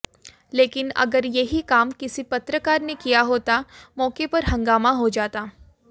लेकिन अगर यही काम किसी पत्रकार ने किया होता मौके पर हँगामा हो जाता